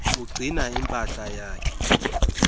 ugcina impahla yakhe